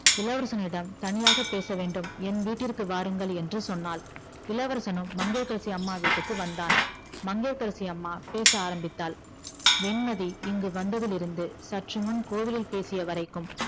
இளவரசனிடம் தனியாக பேச வேண்டும் என் வீட்டிற்க்கு வாருங்கள் என்று சொன்னால் இளவரசனும் மங்கையகரசி அம்மா வீட்டுக்கு வந்தான் மங்கையகரசி அம்மா பேச ஆரம்பித்தால் வெண்மதி இங்கு வந்ததிலிருந்து சற்றுமுன் கோவிலில் பேசியவரைக்கும்